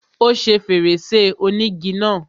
Ó ṣe fèrèsé ònígi náà.